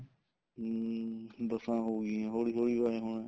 ਹਮ ਬੱਸਾਂ ਹੋਗੀਆਂ ਹੋਲੀ ਹੋਲੀ ਏ ਹੋਣਾ